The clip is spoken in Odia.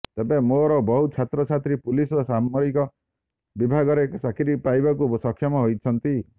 ତେବେ ମୋର ବହୁ ଛାତ୍ର ଛାତ୍ରୀ ପୁଲିସ ଓ ସାମରିକ ବିଭାଗରେ ଚାକିରି ପାଇବାକୁ ସକ୍ଷମ ହୋଇଛନ୍ତି